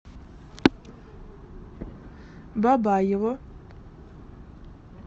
бабаево